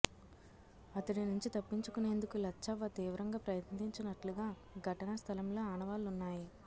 అతడి నుంచి తప్పించుకునేందుకు లచ్చవ్వ తీవ్రంగా ప్రయత్నించినట్లుగా ఘటనా స్థలంలో ఆనవాళ్లున్నాయి